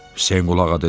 Hüseynqulu ağa dedi: